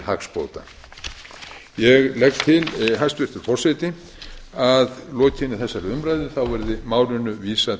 hagsbóta ég legg til hæstvirtur forseti að að lokinni þessari umræðu verði málinu vísað